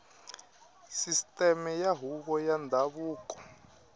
sisiteme ya huvo ya ndhavuko